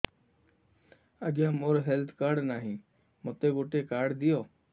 ଆଜ୍ଞା ମୋର health card ନାହିଁ ମୋତେ ଗୋଟେ କାର୍ଡ ଦିଅ